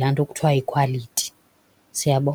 la nto kuthiwa yikhwaliti. Siyabo?